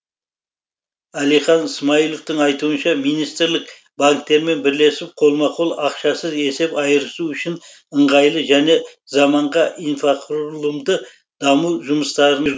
әлихан смайыловтың айтуынша министрлік банктермен бірлесіп қолма қол ақшасыз есеп айырысу үшін ыңғайлы және заманға инфрақұрылымды даму жұмыстарын